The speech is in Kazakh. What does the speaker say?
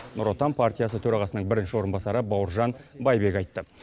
нұр отан партиясы төрағасының бірінші орынбасары бауыржан байбек айтты